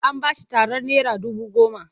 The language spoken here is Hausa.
An ba shi tarar naira dubu goma.